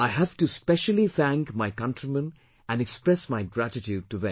I have to specially thank my countrymen and express my gratitude to them